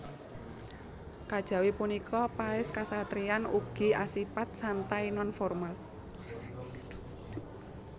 Kajawi punika paès kasatriyan ugi asipat santai non formal